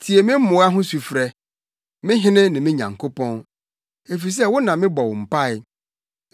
Tie me mmoa ho sufrɛ, me Hene ne me Nyankopɔn, efisɛ wo na mebɔ wo mpae.